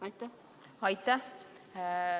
Aitäh!